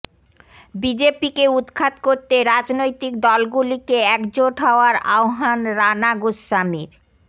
বিজেপিকে উৎখাত করতে রাজনৈতিক দলগুলিকে একজোট হওয়ার আহ্বান রানা গোস্বামীর